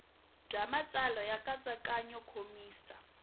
bya matsalelo ya nkatsakanyo nkomiso